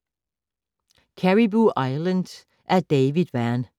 Caribou Island af David Vann